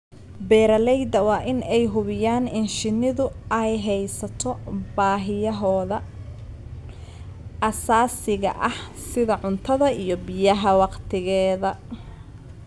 Beeralayda waa in ay hubiyaan in shinnidu ay hesho baahiyahooda aasaasiga ah sida cuntada iyo biyaha wakhtigeeda.